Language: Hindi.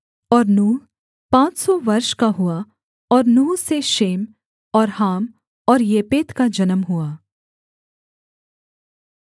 और नूह पाँच सौ वर्ष का हुआ और नूह से शेम और हाम और येपेत का जन्म हुआ